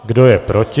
Kdo je proti?